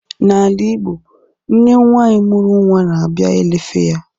N'ala Igbo, nne nwanyi mụrụ nwa na abịa elefe ya